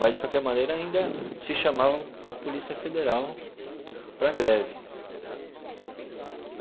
Mas, de qualquer maneira, ainda se chamava a Polícia Federal para a greve.